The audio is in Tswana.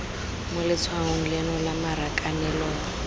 mo letshwaong leno lwa marakanelong